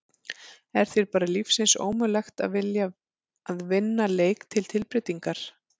Er þér bara lífsins ómögulegt að vilja að vinna leik til tilbreytingar!?